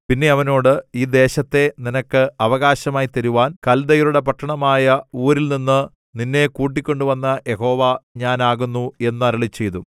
പിന്നെ അവനോട് ഈ ദേശത്തെ നിനക്ക് അവകാശമായി തരുവാൻ കൽദയരുടെ പട്ടണമായ ഊരിൽനിന്നു നിന്നെ കൂട്ടിക്കൊണ്ടുവന്ന യഹോവ ഞാൻ ആകുന്നു എന്ന് അരുളിച്ചെയ്തു